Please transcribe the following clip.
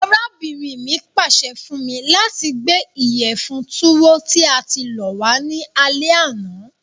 Arábìnrin mi pàse fun mi lati gbé ìyẹ̀fun Tuwo tí a ti lọ̀ wa ni alẹ àná.